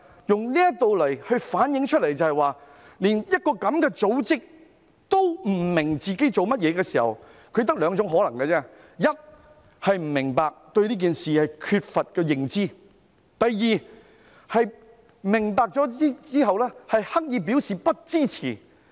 這件事反映出，連這樣的一個組織也不明白自己做甚麼，原因就只有兩種可能，第一，不明白，對這件事缺乏認知；第二，明白後刻意表示不支持。